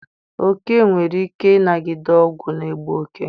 Oke nwere ike ịnagide ọgwụ n'egbu oke.